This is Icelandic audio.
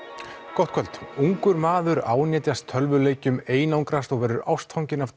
gott kvöld ungur maður ánetjast tölvuleikjum einangrast og verður ástfanginn af